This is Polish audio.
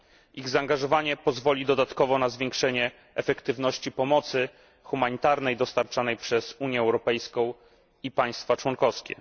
Ich zaangażowanie pozwoli dodatkowo na zwiększenie efektywności pomocy humanitarnej dostarczanej przez Unię Europejską i państwa członkowskie.